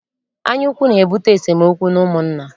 Anyaukwu na-ebute esemookwu n'ụmụnna.